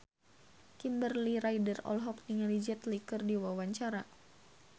Kimberly Ryder olohok ningali Jet Li keur diwawancara